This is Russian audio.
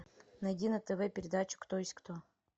найди на тв передачу кто есть кто